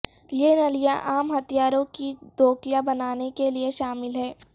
یہ نلیاں عام ہتھیاروں کی دوکیاں بنانے کے لئے شامل ہیں